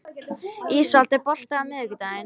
Ísold, er bolti á miðvikudaginn?